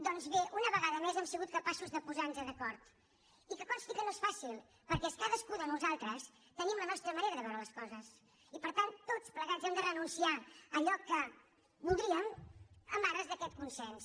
doncs bé una vegada més hem sigut capaços de posar nos d’acord i que consti que no és fàcil perquè cadascú de nosaltres tenim la nostra manera de veure les coses i per tant tots plegats hem de renunciar a allò que voldríem en ares d’aquest consens